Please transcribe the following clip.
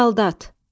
Saldat.